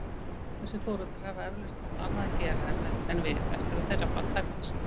Þessir foreldrar hafa eflaust haft annað að gera en við eftir að þeirra barn fæddist.